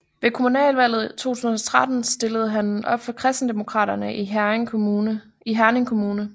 Ved Kommunalvalget 2013 stillede han op for Kristendemokraterne i Herning Kommune